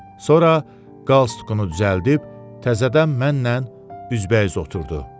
Sonra qalstukunu düzəldib təzədən mənnən üzbəüz oturdu.